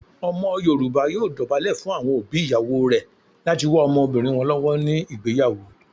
Omo yoruba yoo dobale fun awon obi iyawo re lati wa omobirin won lowo ni igbeyawo.